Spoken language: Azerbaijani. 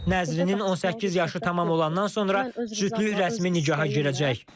Nəzrinin 18 yaşı tamam olandan sonra cütlük rəsmi nikaha girəcək.